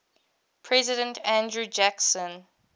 president andrew jackson